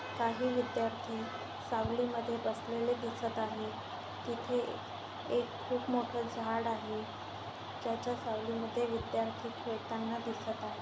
काही विद्यार्थी सावली मध्ये बसलेले दिसत आहे तिथे एक खूप मोठ झाड आहे ज्याच्या सावली मध्ये विद्यार्थी खेळताना दिसत आहे.